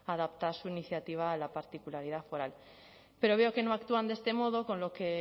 adaptar su iniciativa a la particularidad foral pero veo que no actúan de este modo con lo que